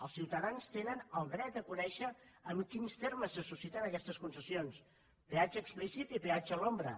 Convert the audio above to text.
els ciutadans tenen el dret a conèixer en quins termes se susciten aquestes concessions peatge explícit i peatge a l’ombra